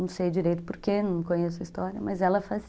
Não sei direito por que, não conheço a história, mas ela fazia.